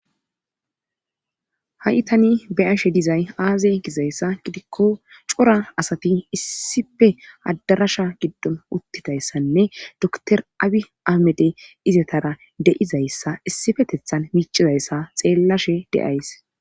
ha7i tani beyashe dizay aaze gizayssa gidikko cora asati issife adarasha giddon uttidayssanne doktor abi amede izetara deizayssa issifetethan miicizayssa xeellashe deays